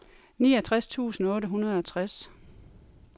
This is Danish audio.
niogtres tusind otte hundrede og tres